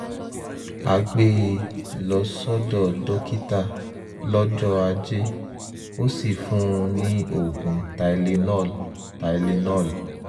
a gbé e lọ sọ́dọ̀ dókítà lọ́jọ́ ajé ó sì fún un ní oògùn tylenol tylenol